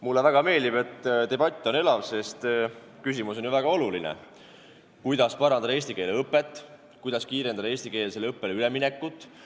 Mulle väga meeldib, et debatt on elav, sest küsimus on ju väga oluline: kuidas parandada eesti keele õpet, kuidas kiirendada eestikeelsele õppele üleminekut.